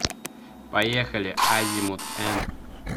поехали азимут н